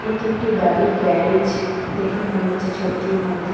এটি একটি গাড়ির গ্যারেজ দেখে মনে হচ্ছে ছবিটির মধ্যে।